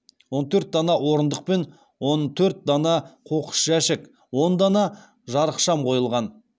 он төрт дана орындық пен он төрт дана қоқыс жәшік он дана жарықшам қойылған